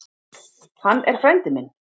Hann er frændi minn.